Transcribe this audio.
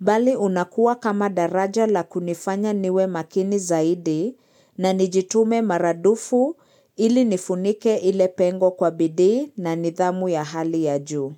bali unakuwa kama daraja la kunifanya niwe makini zaidi na nijitume maradufu ili nifunike ile pengo kwa bidii na nidhamu ya hali ya juu.